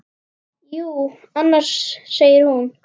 Jú, annars, segir hún.